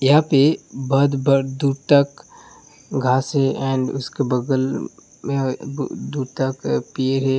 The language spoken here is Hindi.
यहाँ पर दूर तक घास है एंड उसके बगल में अ - दू तक पेर है।